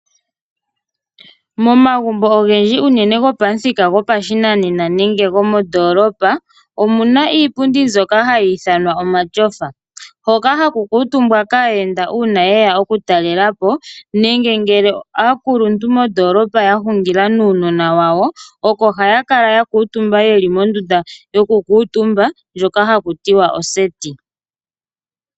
Momagumbo ogendji uunene gopamuthika gopashinanena nenge gomondoolopa, omuna iipundi mbyoka hayi ithanwa omatyofa hoka hakukuutumbwa kaayenda uuna yeya okutalela po nenge ngele aakuluntu mondoolopa yahungila nuunona wawo, oko hayakala yakuutumba yeli mondunda yokukuutumba ndjoka hakutiwa oseti.